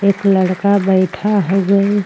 एक लड़का बैठा हउए।